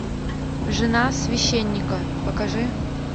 жена священника покажи